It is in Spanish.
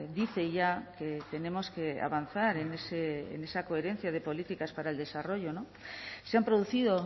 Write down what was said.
dice ya que tenemos que avanzar en esa coherencia de políticas para el desarrollo se han producido